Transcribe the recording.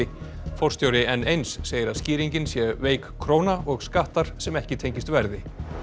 forstjóri n eins segir að skýringin sé veik króna og skattar sem ekki tengist verði